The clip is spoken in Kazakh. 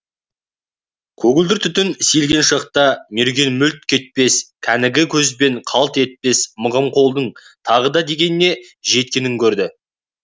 көгілдір түтін сейілген шақта мерген мүлт кетпес кәнігі көз бен қалт етпес мығым қолдың тағы да дегеніне жеткенін көрді